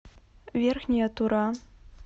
верхняя тура